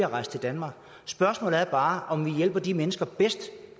at rejse til danmark spørgsmålet er bare om vi hjælper de mennesker bedst